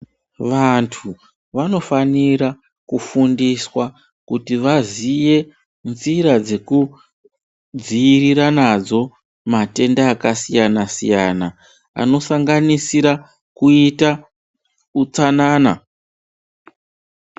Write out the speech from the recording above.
Vantu vanofanira kufundiswa kuti vaziye nzira dzekudzivirira nadzo matenda akasiyana siyana zvino sanganisira kuita utsanana.